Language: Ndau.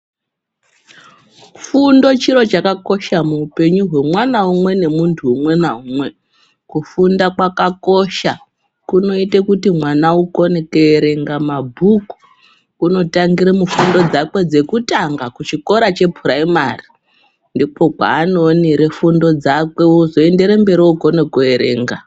Fundo chiro chakakosha muupenyu hwemwana umwe nemuntu umwe naumwe, kufunda kwakakosha kunoite kuti mwana akone kuerenga mabhuku unotangira mufundo dzake dzekutanga kuchikora chepuraimari ndiko kwaanoonere fundo dzake ozoende mberi okone kuerenga.